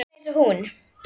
Alveg eins og hún.